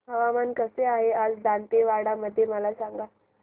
हवामान कसे आहे आज दांतेवाडा मध्ये मला सांगा